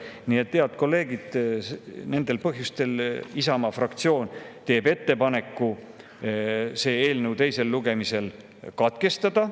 Nii et, head kolleegid, nendel põhjustel Isamaa fraktsioon teeb ettepaneku selle eelnõu menetlus teisel lugemisel katkestada.